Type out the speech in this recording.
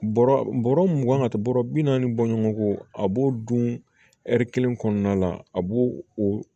Bɔrɔ bɔrɔ mugan ka taa bɔrɔ bi naani bɔ ɲɔgɔn kɔ a b'o dun kelen kɔnɔna la a b'o o